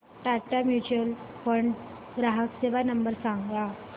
Tata mutual fund ग्राहक सेवा number सांगा